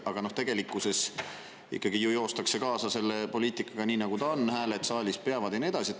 Aga tegelikkuses ikka ju joostakse kaasa selle poliitikaga, nii nagu see on, hääled saalis peavad ja nii edasi.